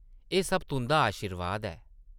एह् सब तुंʼदा अशीर्वाद ऐ ।